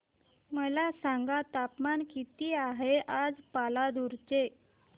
मला सांगा तापमान किती आहे आज पालांदूर चे